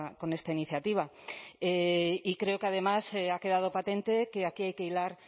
con esta iniciativa y creo que además ha quedado patente que aquí hay que hilar